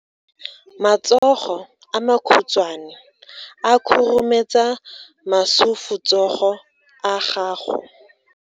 Matsogo a makhutshwane a khurumetsa masufutsogo a gago.